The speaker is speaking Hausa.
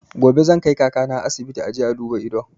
Gobe zan kai kaka ta asibiti a je a duba idon